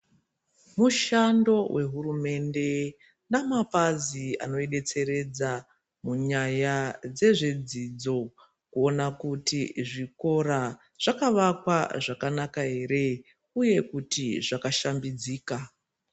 Mushando wehurumende namapazi anoidetseredza munyaya dzezvedzidzo kuona kuti zvikora zvakawakwa zvakanaka ere uye kutizvakashambidzika.